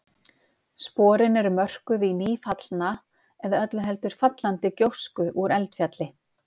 Sporin eru mörkuð í nýfallna eða öllu heldur fallandi gjósku úr eldfjalli.